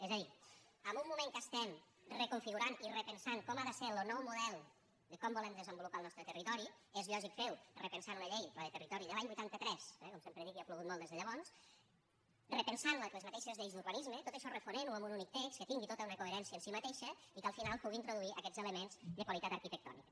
és a dir en un moment que estem reconfigurant i repensant com ha de ser lo nou model de com volem desenvolupar lo nostre territori és lògic fer ho repensant una llei la de territori de l’any vuitanta tres eh com sempre dic ja ha plogut molt des de llavors repensant les mateixes lleis d’urbanisme tot això refonent ho en un únic text que tingui tota una coherència en si mateixa i que al final pugui introduir aquests elements de qualitat arquitectònica